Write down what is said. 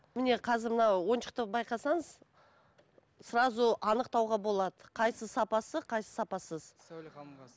міне қазір мына ойыншықты байқасаңыз сразу анықтауға болады қайсысы сапасы қайсысы сапасыз сауле ханымға